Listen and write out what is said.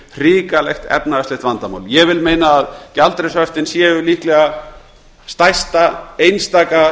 hrikalegt efnahagslegt vandamál ég vil meina að gjaldeyrishöftin séu líklega stærsta einstaka